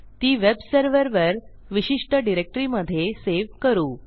ती वेबसर्व्हरवर विशिष्ट डिरेक्टरीमधे सेव्ह करू